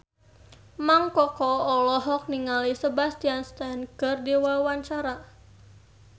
Mang Koko olohok ningali Sebastian Stan keur diwawancara